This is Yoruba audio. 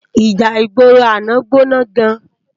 Íjá igbóró àná gbóná gán